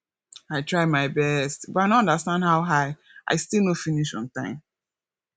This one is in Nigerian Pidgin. i try my best but i no understand how i i still no finish on time